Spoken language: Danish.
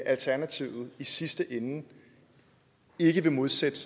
alternativet i sidste ende ikke vil modsætte